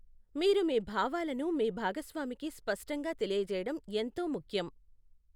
మీరు మీ భావాలను మీ భాగస్వామికి స్పష్టంగా తెలియజేయడం ఎంతో ముఖ్యం.